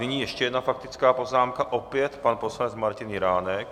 Nyní ještě jedna faktická poznámka opět pan poslanec Martin Jiránek.